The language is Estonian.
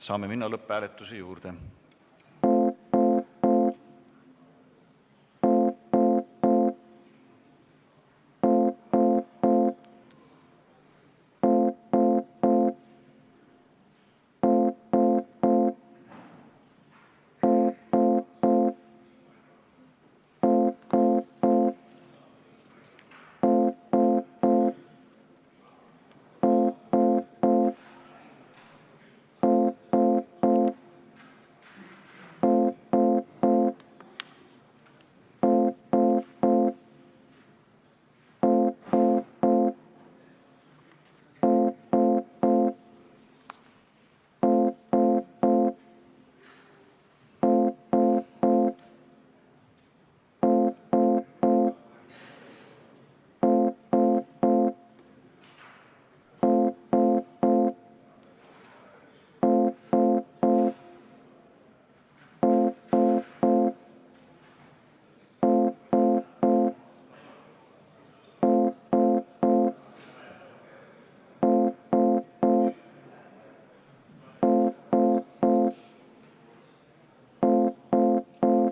Saame minna lõpphääletuse juurde.